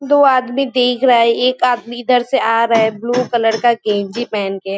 दो आदमी देख रहा है। एक आदमी इधर से आ रहा है। ब्लू कलर -का गेंजी पहन के।